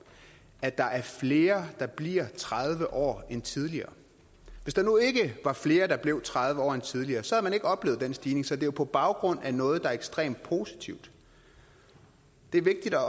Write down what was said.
at der er flere der bliver tredive år end tidligere hvis der nu ikke var flere der blev tredive år end tidligere så havde man ikke oplevet den stigning så det er på baggrund af noget der er ekstremt positivt det er vigtigt at